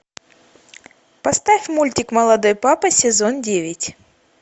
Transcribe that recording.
поставь мультик молодой папа сезон девять